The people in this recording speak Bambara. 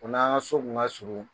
o n'a ka so kun ka surun